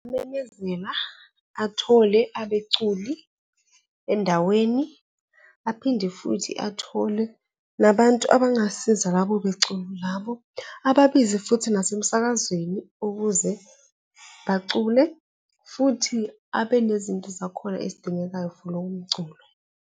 athole abecula endaweni aphinde futhi athole nabantu abangasiza labo beculi labo, ababize futhi nasemsakazweni ukuze bacule futhi abanezinto zakhona ezidingekayo for lowo mculo.